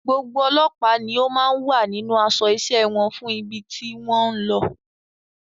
Gbogbo ọlọ́pàá ni ó máa wà nínú aṣọ iṣẹ́ wọn fún ibi tí wọ́n ń lọ.